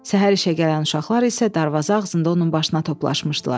Səhər işə gələn uşaqlar isə darvaza ağzında onun başına toplaşmışdılar.